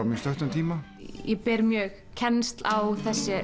á mjög stuttum tíma ég ber kennsl á